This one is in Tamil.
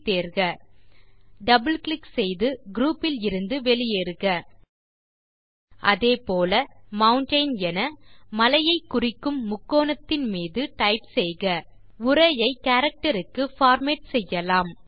ஐ தேர்க இரட்டை சொடுக்கி குரூப் இலிருந்து வெளியேறுக அதே போல மவுண்டெயின் என மலையை குறிக்கும் முக்கோணத்தின் மீது டைப் செய்க உரையை கேரக்டர் க்கு பார்மேட் செய்யலாம்